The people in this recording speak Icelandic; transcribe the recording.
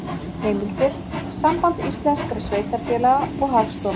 Heimildir: Samband íslenskra sveitarfélaga og Hagstofan.